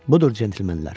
Budur, cənablar!